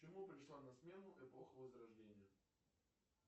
чему пришла на смену эпоха возрождения